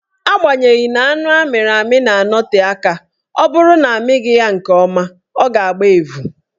Agbanyeghi na anụ amịrị amị na-anọte aka, ọ bụrụ na amịghị ya nke ọma, ọ ga-agba evu